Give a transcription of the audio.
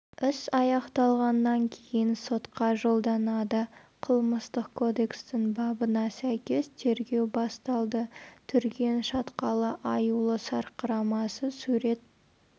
іс аяқталғаннан кейін сотқа жолданады қылмыстық кодекстің бабына сәйкес тергеу басталды түрген шатқалы аюлы сарқырамасы сурет